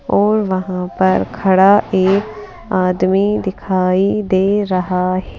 और वहां पर खड़ा एक आदमी दिखाई दे रहा--